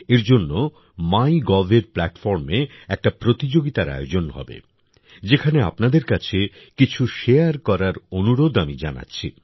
এর জন্য মাই গভএর প্ল্যাটফর্মে একটা প্রতিযোগিতার আয়োজন হবে যেখানে আপনাদের কাছে কিছু শেয়ার করার অনুরোধ আমি জানাচ্ছি